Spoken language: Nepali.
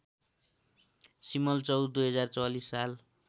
सिमलचौर २०४४ साल